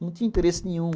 Não tinha interesse nenhum.